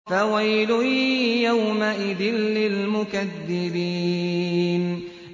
فَوَيْلٌ يَوْمَئِذٍ لِّلْمُكَذِّبِينَ